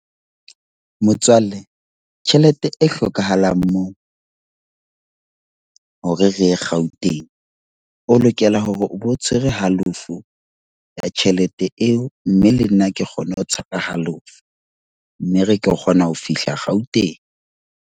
Motswalle, tjhelete e hlokahalang moo hore re Gauteng, o lokela hore o bo tshwere halofo ya tjhelete eo. Mme le nna ke kgone ho tshepa halofo. Mme re ke kgona ho fihla Gauteng.